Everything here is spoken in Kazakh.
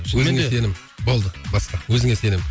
өзіңе сенім болды баста өзіңе сенім